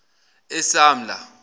esamla